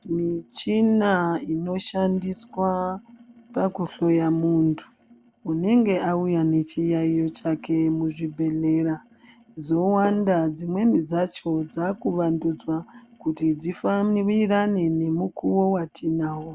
Michina ino shandiswa paku hloya muntu unenge auya ne chiyayiyo chake mu zvibhedhlera dzovanda dzimweni dzacho dzaku wandudzwa kuti dzi fambirirane ne mukuwo watinawo.